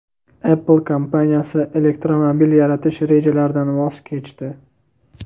Apple kompaniyasi elektromobil yaratish rejalaridan voz kechdi.